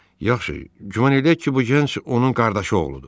Yaxşı, güman eləyək ki, bu gənc onun qardaşı oğludur.